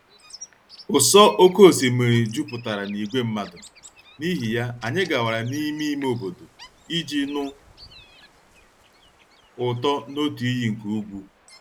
ụsọ oké osimiri jupụtara na ìgwè mmadụ, n'ihi ya, anyị gawara n'ime ime obodo iji nụ ụtọ n'otu iyi nke ugwu.